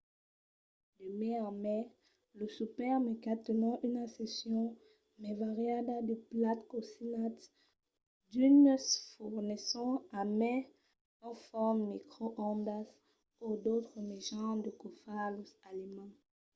de mai en mai los supermercats tenon una seccion mai variada de plats cosinats. d'unes fornisson a mai un forn microondas o d'autres mejans de caufar los aliments